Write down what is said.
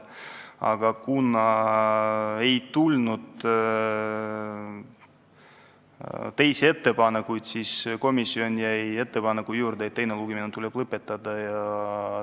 Aga kuna ei tulnud teisi ettepanekuid, siis jäi komisjon ettepaneku juurde teine lugemine lõpetada.